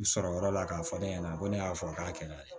N sɔrɔ yɔrɔ la k'a fɔ ne ɲɛna ko ne y'a fɔ a k'a kɛnɛ